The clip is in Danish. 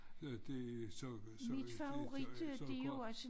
Ja det så så det ja så går